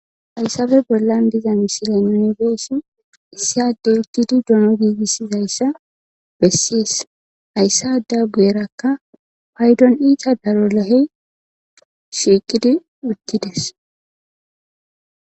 hayssabe bollan diza misile nuni be'ishin issi adey uttidi dono giigissizayssa besses hayss ada guyerakka paydon iita daro lahey shiiqidi uttides